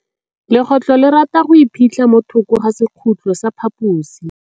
Legôtlô le rata go iphitlha mo thokô ga sekhutlo sa phaposi.